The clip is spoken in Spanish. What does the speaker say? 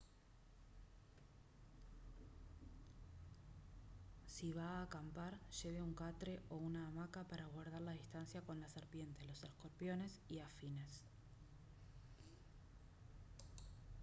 si va a acampar lleve un catre o una hamaca para guardar la distancia con las serpientes los escorpiones y afines